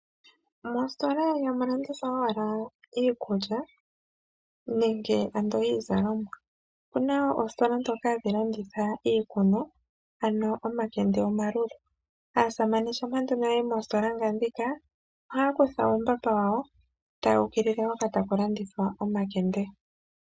Moositola ihamu landithwa owala iikulya nenge ando iizalomwa. Opuna oositola dhoka hadhi landitha iikunwa, ano omakende omalulu. Aasamane shampa nduno ya yi moositola nga dhika, ohaya kutha uumbamba wawo ta ya ukilile hoka ta ku landithwa omakende.